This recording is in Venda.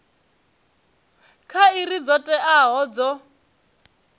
kha iri dzo teaho dzo